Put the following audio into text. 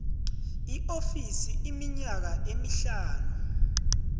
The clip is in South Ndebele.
iofisi iminyaka emihlanu